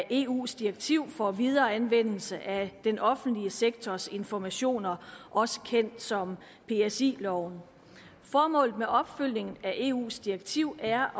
eus direktiv for videre anvendelse af den offentlige sektors informationer også kendt som psi loven formålet med opfølgningen på eus direktiv er